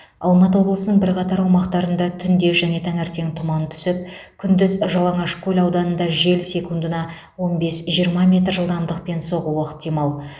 алматы облысының бірқатар аумақтарында түнде және таңертең тұман түсіп күндіз жалаңашкөл ауданында жел секундына он бес жиырма метр жылдамдықпен соғуы ықтимал